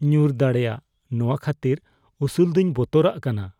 ᱧᱩᱨ ᱫᱟᱲᱮᱭᱟᱜ ᱱᱚᱶᱟ ᱠᱷᱟᱹᱛᱤᱨ ᱩᱥᱩᱞ ᱫᱚᱧ ᱵᱚᱛᱚᱨᱟᱜ ᱠᱟᱱᱟ ᱾